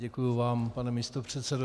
Děkuju vám, pane místopředsedo.